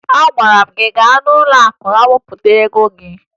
Agwara m gị gaa n'ụlọakụ wepụ ego gị!